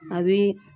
A bi